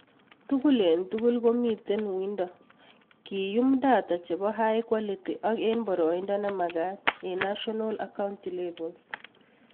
Tugul eng tugul komitei uindo keyuum data chebo high quality ak eng boroindo nemakat eng national ak county levels